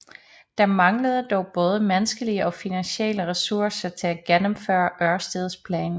Der manglede dog både menneskelige og finansielle ressourcer til at gennemføre Ørsteds plan